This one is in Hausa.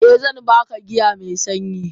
Eh zan baka giya me sanyi.